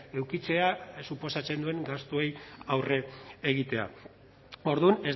edukitzea suposatzen duen gastuei aurre egitea orduan